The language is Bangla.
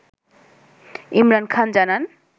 ইমরান খান জানান